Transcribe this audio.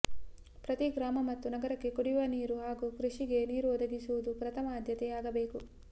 ಪ್ರತಿ ಗ್ರಾಮ ಮತ್ತು ನಗರಕ್ಕೆ ಕುಡಿಯುವ ನೀರು ಹಾಗೂ ಕೃಷಿಗೆ ನೀರನ್ನು ಒದಗಿಸುವುದು ಪ್ರಥಮ ಆದ್ಯತೆ ಆಗಬೇಕು